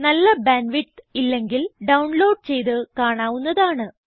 നല്ല bandwidth ഇല്ലെങ്കിൽ download ചെയ്ത് കാണാവുന്നതാണ്